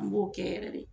An b'o kɛ yɛrɛ de